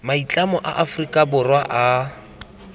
maitlamo a aforika borwa a